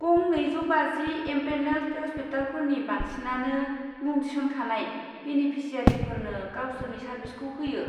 गं नैजौ बाजि एमपेनेल्ड हस्पिटालफोरनि बांसिनानो मुं थिसनखानाय बेनेफिसियारिफोरनो गावसोरनि सार्भिसखौ होयो।